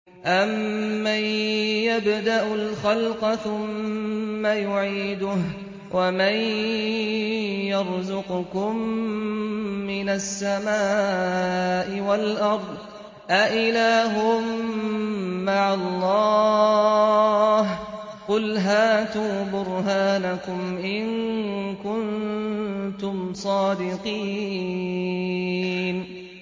أَمَّن يَبْدَأُ الْخَلْقَ ثُمَّ يُعِيدُهُ وَمَن يَرْزُقُكُم مِّنَ السَّمَاءِ وَالْأَرْضِ ۗ أَإِلَٰهٌ مَّعَ اللَّهِ ۚ قُلْ هَاتُوا بُرْهَانَكُمْ إِن كُنتُمْ صَادِقِينَ